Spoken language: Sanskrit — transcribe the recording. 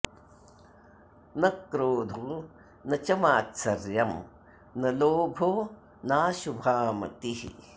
न क्रोधो न च मात्सर्यं न लोभो नाशुभा मतिः